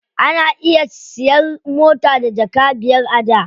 Ana iya siyan mota da jaka biyar a da.